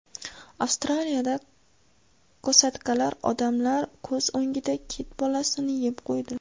Avstraliyada kosatkalar odamlar ko‘z o‘ngida kit bolasini yeb qo‘ydi.